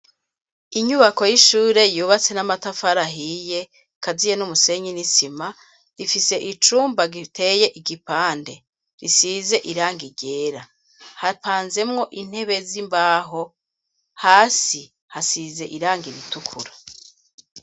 Inyubako y'ishure yubatse n'amatafari ahiye, akaziye n'umusenyi n'isima, rifise icumba giteye igipande, risize irangi ryera, hapanzemwo intebe z'imbaho, hasi hasize irangi ritukura.